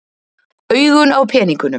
Augun á peningunum.